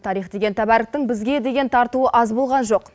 тарих деген тәбәріктің бізге деген тартуы аз болған жоқ